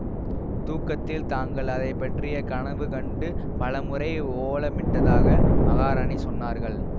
தூக்கத்தில் தாங்கள் அதை பற்றிய கனவு கண்டு பல முறை ஓலமிட்டதாக மகாராணி சொன்னார்கள்